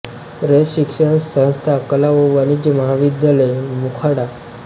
रयत शिक्षण संस्था कला व वाणिज्य महाविद्यालय मोखाडा